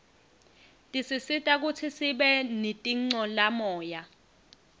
tisisita kutsi sibe nitincolamoya